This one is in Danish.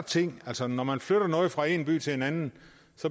ting altså når man flytter noget fra en by til en anden